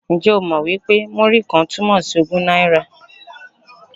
Ǹjẹ́ o mọ̀ wí pé Múrí-kan túmọ̀ sí ogún náírà?